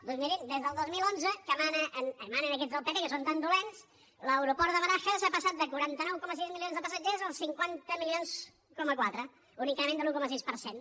doncs mirin des del dos mil onze que manen aquests del pp que són tan dolents l’aeroport de barajas ha passat de quaranta nou coma sis milions de passatgers als cinquanta coma quatre milions un increment de l’un coma sis per cent